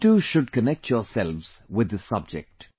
You too should connect yourselves with this subject